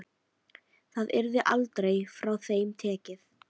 Það yrði aldrei frá þeim tekið.